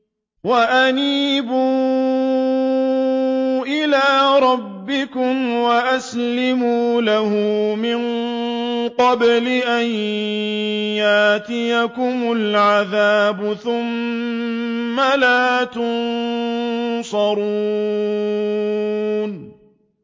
وَأَنِيبُوا إِلَىٰ رَبِّكُمْ وَأَسْلِمُوا لَهُ مِن قَبْلِ أَن يَأْتِيَكُمُ الْعَذَابُ ثُمَّ لَا تُنصَرُونَ